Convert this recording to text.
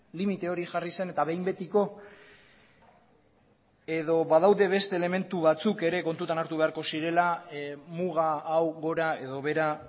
limite hori jarri zen eta behin betiko edo badaude beste elementu batzuk ere kontutan hartu beharko zirela muga hau gora edo behera